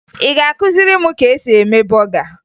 Ị ga-akụziri m ka e si eme bọga?